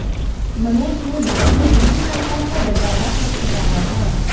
मनोज ने बाद में दिल्ली हाई कोर्ट का दरवाजा खटखटाया था